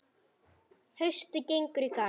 Haustið gengur í garð.